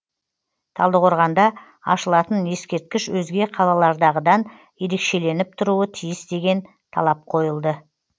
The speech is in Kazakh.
талдықорғанда ашылатын ескерткіш өзге қалалардағыдан ерекшеленіп тұруы тиіс деген талап қойылды